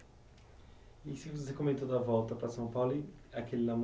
E se você comentou da volta para São Paulo e aquele